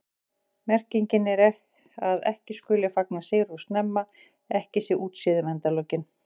Merkingin er að ekki skuli fagna sigri of snemma, ekki sé útséð um endalokin.